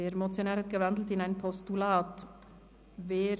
Der Motionär hat diese in ein Postulat umgewandelt.